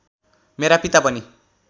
मेरा पिता पनि